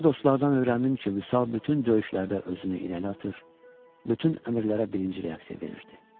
Sonra dostlardan öyrəndim ki, Vüsal bütün döyüşlərdə özünü irəli atır, bütün əmrlərə birinci reaksiya verirdi.